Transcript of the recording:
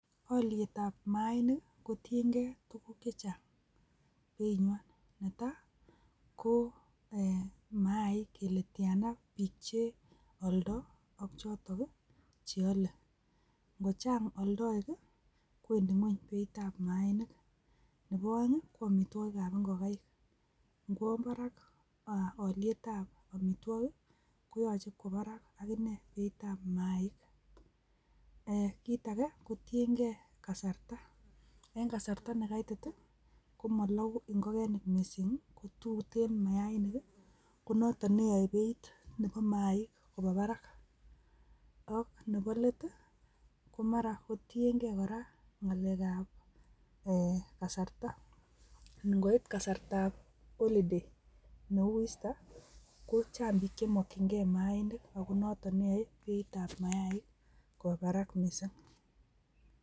Olietab mainik kotiengei tuguuk chechang beiywan. Netai ko e,maik kele tiana biik cheoldoi, ak chotok che olee. Angochang oldoik i,kowendi ngwony beitab mainik. Nebo oeng ko amitwogiikab ingokaik. Inkwo barak alietab amitwogiik koyoche kwo barak akine beeitab maik. Kitage, kotiengei kasarta. En kasarta nekaitit i,komologu ingogenik missing, ak tuten mayainik, konotok neyoe beit neboo maik kwo barak. Ak nebo let ko mara KO tiengei kora ngalekab kasarta. Ingoit kasartab holiday neu Easter ,kochang biik chemokyingei mainik ako konotok neyoe beitab maik kwo barak missing.